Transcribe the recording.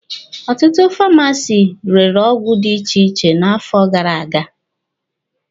Ọtụtụ Famasi rere ọgwụ dị iche iche n'afọ gara aga.